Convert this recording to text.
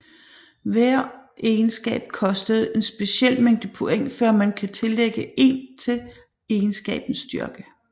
Hver egenskab koster en speciel mængde point før man kan tillægge 1 til egenskabens styrke